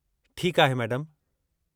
ठीकु आहे, मैडमु।